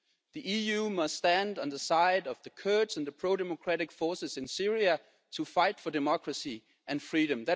The EU must stand on the side of the Kurds and the pro democratic forces in Syria to fight for democracy and freedom.